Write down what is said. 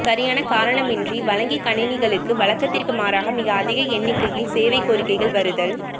சரியான காரணமின்றி வழங்கிக் கணினிகளுக்கு வழக்கத்திற்கு மாறாக மிக அதிக எண்ணிக்கையில் சேவை கோரிக்கைகள் வருதல்